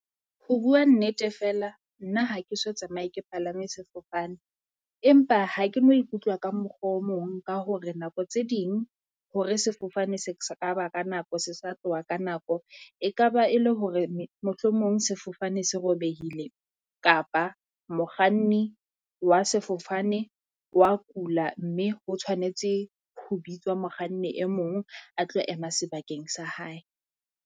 Ho bua nnete feela nna ha ke so tsamaye ke palame sefofane, empa ha ke no ikutlwa ka mokgwa o mong ka hore nako tse ding, hore sefofane se kaba ka nako se sa tloha ka nako. E kaba e le hore mohlomong sefofane se robehile kapa mokganni wa sefofane wa kula, mme o tshwanetse ho bitswa mokganni e mong a tlo ema sebakeng sa hae.